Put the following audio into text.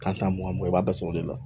Kan tan mugan mugan i b'a bɛɛ sɔrɔ o de la